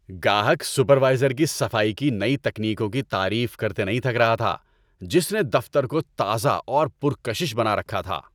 گاہک سپروائزر کی صفائی کی نئی تکنیکوں کی تعریف کرتے نہیں تھک رہا تھا جس نے دفتر کو تازہ اور پر کشش بنا رکھا تھا۔